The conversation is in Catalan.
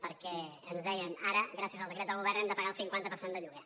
perquè ens deien ara gràcies al decret del govern hem de pagar el cinquanta per cent de lloguer